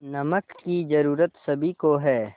नमक की ज़रूरत सभी को है